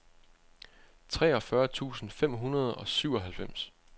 treogfyrre tusind fem hundrede og syvoghalvfems